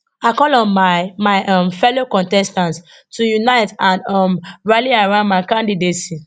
i call on my my um fellow contestants to unite and um rally around my candidacy